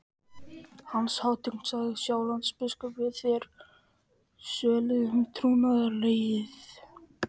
Hans hátign, sagði Sjálandsbiskup,-vill að þér sverjið honum trúnaðareið.